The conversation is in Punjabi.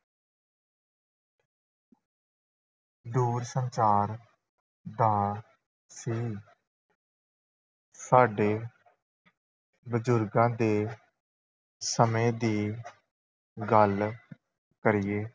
ਦੂਰਸੰਚਾਰ ਦਾ ਸੀ ਸਾਡੇ ਬਜ਼ੁਰਗਾਂ ਦੇ ਸਮੇਂ ਦੀ ਗੱਲ ਕਰੀਏ